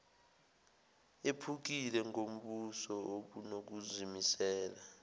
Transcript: ephukile ngobuso obunokuzimisela